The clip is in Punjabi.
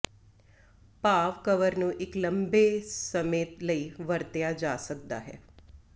ਭਾਵ ਕਵਰ ਨੂੰ ਇੱਕ ਲੰਬੇ ਸਮ ਲਈ ਵਰਤਿਆ ਜਾ ਸਕਦਾ ਹੈ